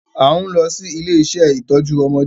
A n lọ si ile-iṣẹ itọju ọmọdé